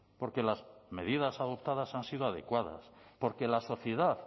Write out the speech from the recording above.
porque las medidas adoptadas han sido adecuadas porque la sociedad